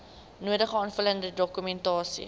nodige aanvullende dokumentasie